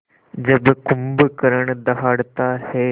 जब कुंभकर्ण दहाड़ता है